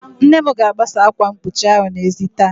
Nne m ga-agbasa ákwà mkpuchi ahụ n'ezi taa.